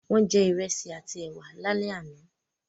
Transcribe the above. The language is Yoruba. Wọ́n jẹ Ìrẹ́sì àti ẹwà lálẹ́ àná